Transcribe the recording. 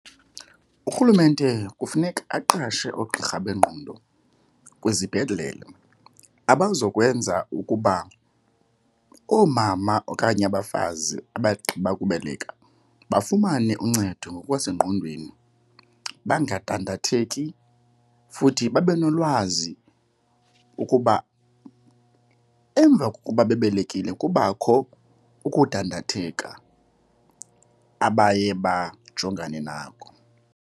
Urhulumente kufuneka aqashe oogqirha bengqondo kwizibhedlele abazokwenza ukuba oomama okanye abafazi abagqiba ukubelela bafumane uncedo ngokwasengqondweni bangadandathatheki. Futhi babe nolwazi ukuba emva kokuba bebelekile kubakho ukudandatheka abaye bajongane nako.